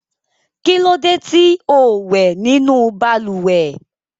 Kí ló dé tí ò wẹ̀ nínú balùwẹ̀?